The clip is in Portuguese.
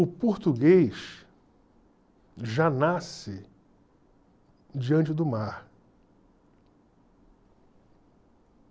O português já nasce diante do mar.